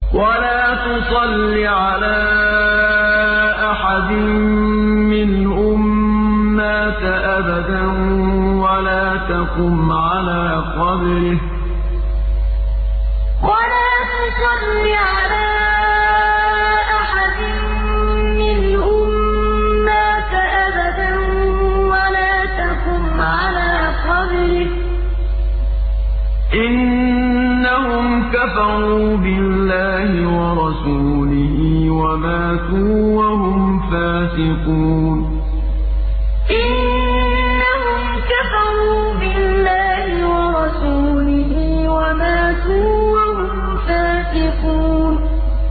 وَلَا تُصَلِّ عَلَىٰ أَحَدٍ مِّنْهُم مَّاتَ أَبَدًا وَلَا تَقُمْ عَلَىٰ قَبْرِهِ ۖ إِنَّهُمْ كَفَرُوا بِاللَّهِ وَرَسُولِهِ وَمَاتُوا وَهُمْ فَاسِقُونَ وَلَا تُصَلِّ عَلَىٰ أَحَدٍ مِّنْهُم مَّاتَ أَبَدًا وَلَا تَقُمْ عَلَىٰ قَبْرِهِ ۖ إِنَّهُمْ كَفَرُوا بِاللَّهِ وَرَسُولِهِ وَمَاتُوا وَهُمْ فَاسِقُونَ